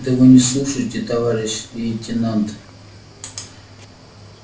да вы не слушаете товарищ лейтенант